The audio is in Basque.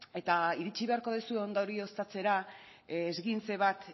eta iritsi beharko duzue ondorioztatzera esguince bat